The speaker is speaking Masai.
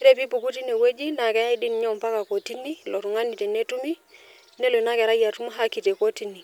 Ore piipuku tine wueji naa keyay dii ninye ompaka kotini ilo tungani tenetumi , nelo ina kerai atum haki te kotini.